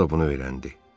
O da bunu öyrəndi.